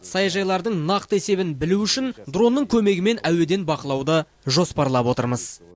саяжайлардың нақты есебін білу үшін дронның көмегімен әуеден бақылауды жоспарлап отырмыз